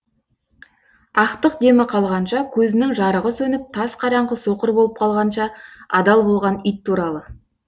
ақтық демі қалғанша көзінің жарығы сөніп тас қараңғы соқыр болып қалғанша адал болған ит туралы